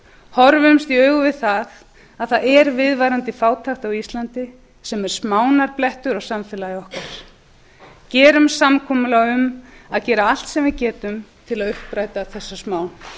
horfumst í augu við það að það er viðvarandi fátækt á íslandi sem er smánarblettur á samfélagi okkar gerum samkomulag um að gera allt sem við getum til að uppræta þessa smán